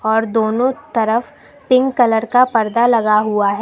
और दोनों तरफ पिंक कलर का पर्दा लगा हुआ ह--